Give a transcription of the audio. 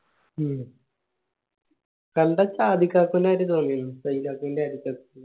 മ്മ് കണ്ട ആയിട്ട് തോന്നിയിരുന്നു